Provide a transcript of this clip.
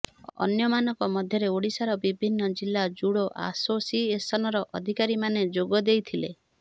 ଅନ୍ୟ ମାନଙ୍କ ମଧ୍ୟରେ ଓଡିଶାର ବିଭିନ୍ନ ଜିଲ୍ଲା ଜୁଡୋ ଆସୋସିଏସନର ଅଧିକାରୀ ମାନେ ଯୋଗଦେଇଥିଲେ